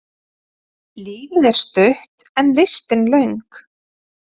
Lífið er stutt en listin löng.